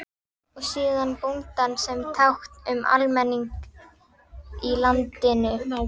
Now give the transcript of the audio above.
Og síðan bóndann sem tákn um almenning í landinu.